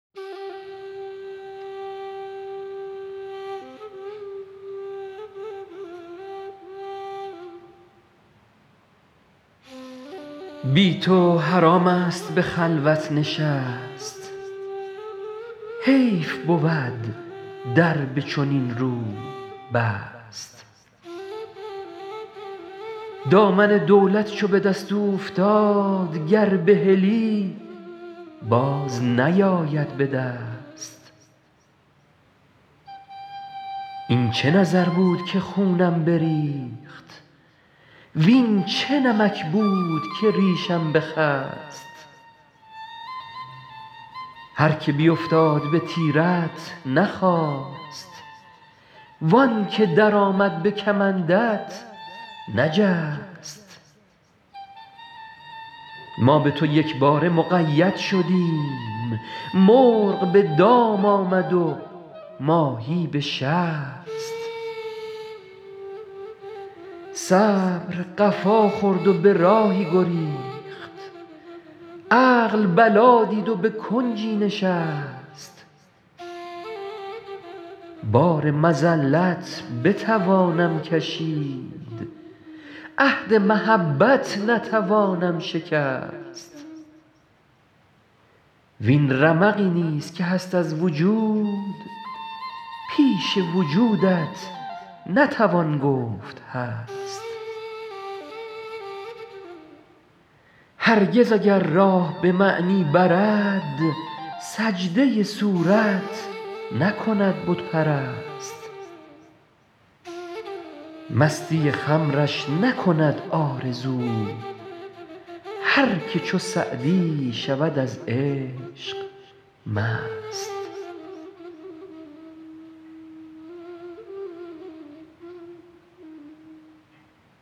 بی تو حرام است به خلوت نشست حیف بود در به چنین روی بست دامن دولت چو به دست اوفتاد گر بهلی باز نیاید به دست این چه نظر بود که خونم بریخت وین چه نمک بود که ریشم بخست هر که بیفتاد به تیرت نخاست وان که درآمد به کمندت نجست ما به تو یکباره مقید شدیم مرغ به دام آمد و ماهی به شست صبر قفا خورد و به راهی گریخت عقل بلا دید و به کنجی نشست بار مذلت بتوانم کشید عهد محبت نتوانم شکست وین رمقی نیز که هست از وجود پیش وجودت نتوان گفت هست هرگز اگر راه به معنی برد سجده صورت نکند بت پرست مستی خمرش نکند آرزو هر که چو سعدی شود از عشق مست